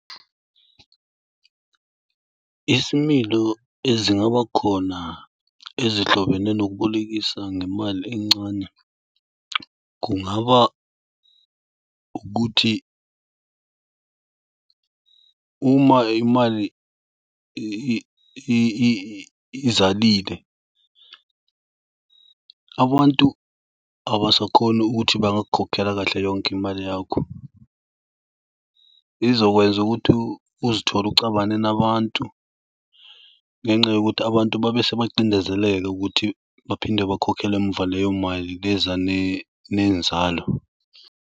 Isimilo ezingaba khona ezihlobene nokubolekisa ngemali encane. Kungaba ukuthi uma imali izalile, abantu abasakhoni ukuthi bangakukhokhela kahle yonke imali yakho. Izokwenza ukuthi uzithole ucabane nabantu ngenxa yokuthi abantu babese bacindezeleka ukuthi baphinde bakhokhele emuva leyo mali le eza nenzalo.